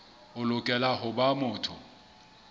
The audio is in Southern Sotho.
o lokela ho ba motho